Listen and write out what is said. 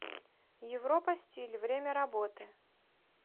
европа стиль время работы